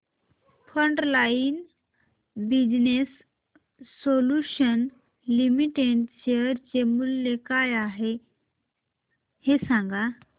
frontline business solutions limited share चे मूल्य काय आहे हे सांगा